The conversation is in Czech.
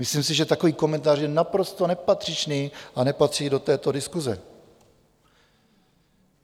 Myslím si, že takový komentář je naprosto nepatřičný a nepatří do této diskuse.